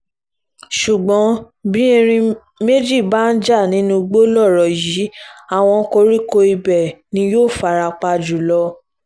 ṣùgbọ́n bí erin méjì bá ń jà nínú igbó lọ̀rọ̀ yìí àwọn koríko ibẹ̀ ni yóò fara pa jù lọ